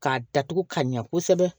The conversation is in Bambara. K'a datugu ka ɲɛ kosɛbɛ